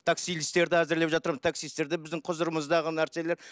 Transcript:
әзірлеп жатырмын таксисттер де біздің құзырымыздағы нәрселер